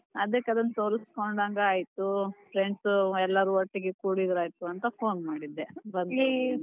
ಅದಕ್ ಅದನ್ನ ತೋರಸ್ಕೊಂಡಾಂಗ್ ಆಯಿತು, friends ಎಲ್ಲರೂ ಒಟ್ಟಿಗೆ ಕೂಡಿದ್ರೆ ಆಯಿತು ಅಂತ phone ಮಾಡಿದೆ .